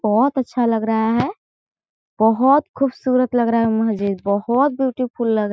बहोत अच्छा लग रहा है बहोत खूबसूरत लग रहा है मस्जिद बहोत ब्यूटीफुल लग रा है।